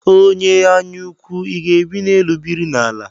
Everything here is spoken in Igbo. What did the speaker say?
Onye anya ukwu, I ga-ebi n'elu biri n'ala?